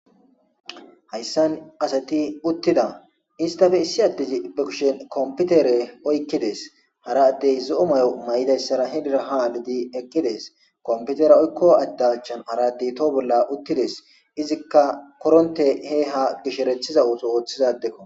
hayssan asati uttida istafe issi adezi be kushen komputere oykkides hara addey zo'o mayo mayidayssara henira ha alidi eqqides komputera oykko addachan haradi to bolla uttides izikka koronte he ha gisherethiza ooso ooththiza adeko